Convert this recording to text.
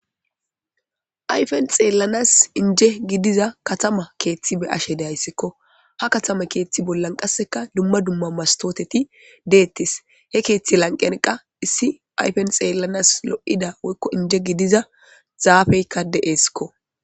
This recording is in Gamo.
ayfen xeellanas inje gidiza katama keeththi be ashe deayssikko ha katama keeththi bollan qasseka dumma dumma mastooteti deettis he keeththi lanqenqa issi ayfen xeellanas lo7ida woykko inje gidiza zaafeykka de7eskko